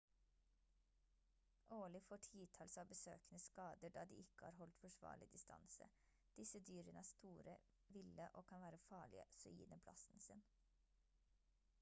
årlig får titalls av besøkende skader da de ikke har holdt forsvarlig distanse disse dyrene er store ville og kan være farlige så gi dem plassen sin